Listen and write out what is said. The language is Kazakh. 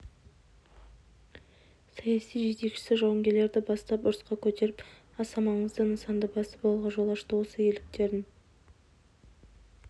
саяси жетекшісі жауынгерлерді бастап ұрысқа көтеріп аса маңызды нысанды басып алуға жол ашты осы ерліктерін